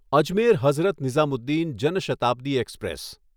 Ajmer Hazrat Nizamuddin Jan Shatabdi express